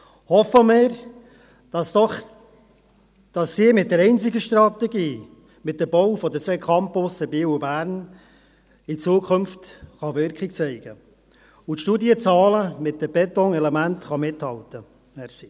Hoffen wir, dass doch diese einzige Strategie mit dem Bau der zwei Campusse Biel und Bern in Zukunft Wirkung zeigen kann und die Studienzahlen mit den Betonelementen mithalten können.